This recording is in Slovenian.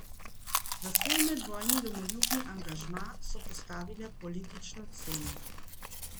Za svoj medvojni domoljubni angažma so postavile politično ceno.